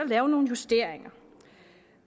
lave nogle justeringer